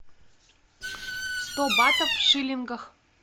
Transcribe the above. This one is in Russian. сто батов в шиллингах